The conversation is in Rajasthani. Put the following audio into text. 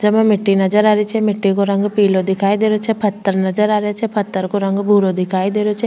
जेमा मिट्टी नजर आ रही छे मिट्टी को रंग पिलो दिखाई दे रहियो छे पत्थर नजर आ रिया छे पत्थर का रंग भूरो दिखाई दे रहियो छे।